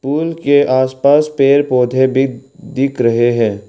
पुल के आस पास पेड़ पौधे भी दिख रहे हैं।